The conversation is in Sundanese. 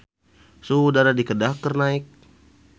Suhu udara di Kedah keur naek